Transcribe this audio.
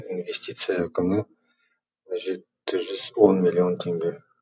инвестиция құны жеті жүз он миллион теңге